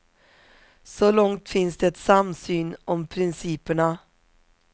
Så långt finns det samsyn om principerna.